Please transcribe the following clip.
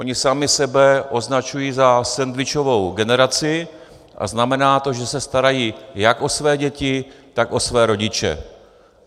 Oni sami sebe označují za sendvičovou generaci a znamená to, že se starají jak o své děti, tak o své rodiče.